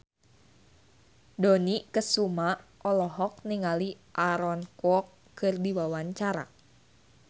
Dony Kesuma olohok ningali Aaron Kwok keur diwawancara